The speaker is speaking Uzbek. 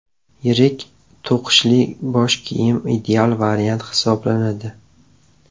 Yirik to‘qishli bosh kiyim ideal variant hisoblanadi.